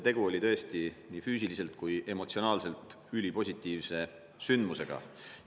Tegu oli tõesti nii füüsiliselt kui ka emotsionaalselt ülipositiivse sündmusega.